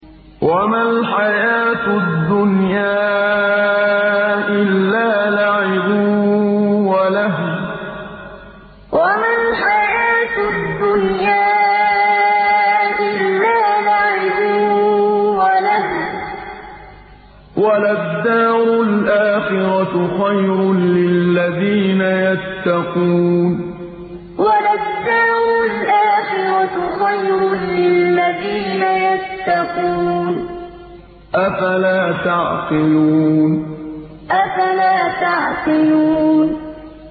وَمَا الْحَيَاةُ الدُّنْيَا إِلَّا لَعِبٌ وَلَهْوٌ ۖ وَلَلدَّارُ الْآخِرَةُ خَيْرٌ لِّلَّذِينَ يَتَّقُونَ ۗ أَفَلَا تَعْقِلُونَ وَمَا الْحَيَاةُ الدُّنْيَا إِلَّا لَعِبٌ وَلَهْوٌ ۖ وَلَلدَّارُ الْآخِرَةُ خَيْرٌ لِّلَّذِينَ يَتَّقُونَ ۗ أَفَلَا تَعْقِلُونَ